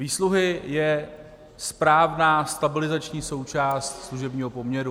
Výsluhy jsou správná stabilizační součást služebního poměru.